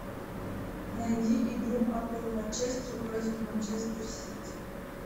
найди игру апл манчестер против манчестер сити